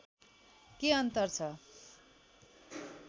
के अन्तर छ